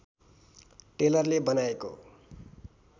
टेलरले बनाएको